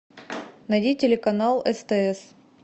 найди телеканал стс